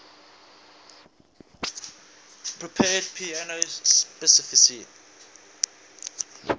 prepared piano specify